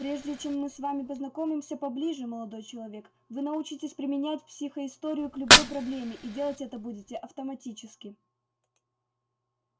прежде чем мы с вами познакомимся поближе молодой человек вы научитесь применять психоисторию к любой проблеме и делать это будете автоматически